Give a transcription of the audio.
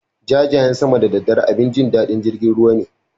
Jajayen sama da daddare abin jin daɗin jirgin ruwa ne.